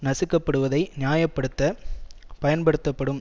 நசுக்கப்படுவதை நியாய படுத்த பயன்படுத்தப்படும்